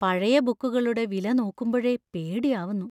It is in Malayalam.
പഴയ ബുക്കുകളുടെ വില നോക്കുമ്പഴെ പേടിയാവുന്നു.